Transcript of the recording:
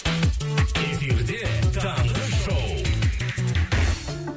эфирде таңғы шоу